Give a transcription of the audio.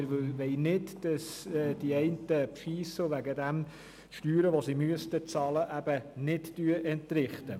Wir wollen nicht, dass die einen bescheissen und sie deswegen die Steuern, die sie bezahlen müssten, eben nicht entrichten.